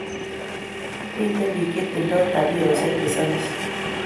Miten pik che tindo tabioshek che samis